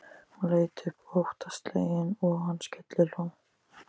Hún leit upp óttaslegin og hann skellihló.